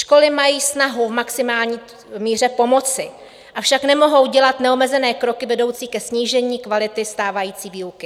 Školy mají snahu v maximální míře pomoci, avšak nemohou dělat neomezené kroky vedoucí ke snížení kvality stávající výuky.